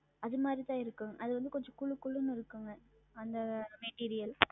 அதுமாறி தான் இருக்கும். அது வந்து கொஞ்சம் குளு குளுன்னு இருக்கும் ma'am அந்த Material